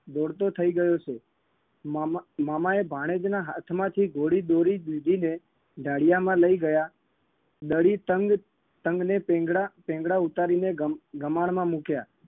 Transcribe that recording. દોડતો થઇ ગયો છે મામા મામાએ ભાણેજના હાથમાંથી ઘોડી દોરી લીધી ને ઢાળિયામાં લઇ ગયા દડી તંગ તંગને ટીંગડા ટીંગડા ઉતારીને ગમા ગમાણમાં મુક્યા